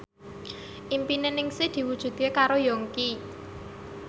impine Ningsih diwujudke karo Yongki